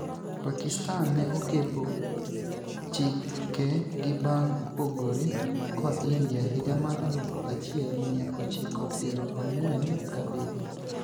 Pakistan ne okepo chike gi bang' pogore kod India higa mar alufu achiel mia ochiko piero ang'uen gabirio.